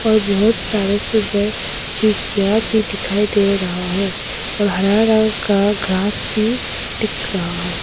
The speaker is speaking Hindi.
और बहुत सारे सुंदर खिड़कियां भी दिखाई दे रहा है और हरा रंग का ग्रास भी दिख रहा है।